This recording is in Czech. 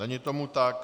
Není tomu tak.